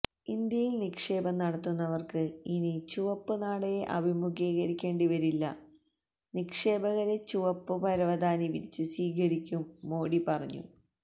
ഇന്ത്യയില് നിക്ഷേപം നടത്തുന്നവര്ക്ക് ഇനി ചുവപ്പ് നാടയെ അഭിമുഖീകരിക്കേണ്ടി വരില്ല നിക്ഷേപകരെ ചുവപ്പ് പരവതാനി വിരിച്ച് സ്വീകരിക്കും മോഡി പറഞ്ഞു